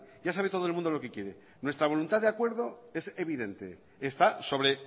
ya sabe todo el mundo lo que quiere nuestra voluntad de acuerdo es evidente está sobre